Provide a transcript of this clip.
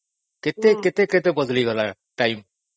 କେତେ କେତେ ବଦଳି ଗଲାଣି ର୍ଟମେ ନାଇଁ?